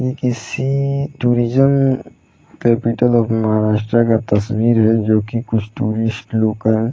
ये किसी tourism capital of Maharashtra का तस्वीर है जो की कुछ टुरिस्ट लोग का है।